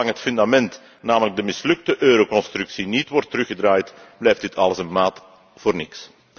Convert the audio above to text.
Zolang het fundament, namelijk de mislukte euroconstructie, niet wordt teruggedraaid, blijft dit alles een maat voor niks.